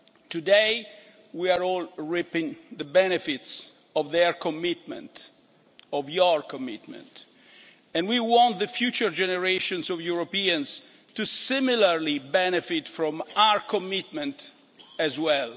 Today, we are all reaping the benefits of their commitment, of your commitment, and we want future generations of Europeans to benefit similarly from our commitment as well.